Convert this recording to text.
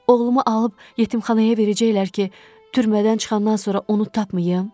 Oğlumu alıb yetimxanaya verəcəklər ki, türmədən çıxandan sonra onu tapmayım?